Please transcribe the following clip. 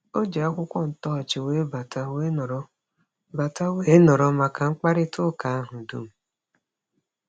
O ji akwụkwọ ntọọchị wee bata wee nọrọ bata wee nọrọ maka mkparịtaụka ahụ dum.